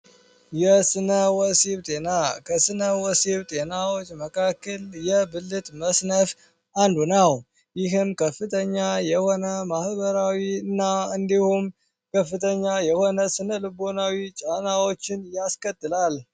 የስነ ወሲብ ጤና የብልት መስነፍ አንዱ ሲሆን ይህም ከፍተኛ የሆነ ማህበራዊ እና እንዲሁም ከፍተኛ የሆነ ስነ ልቦናዊ ጫናዎችን ያስቀጥላል